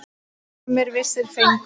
Skammir vissir fengu.